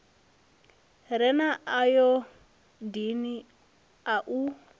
re na ayodini a u